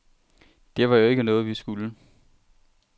Det var jo ikke noget, vi skulle.